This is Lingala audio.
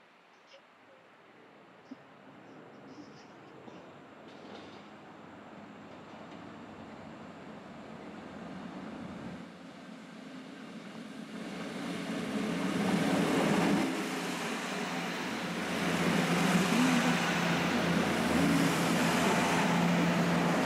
Batongi ndaka kitoko ya pembe ya molayi.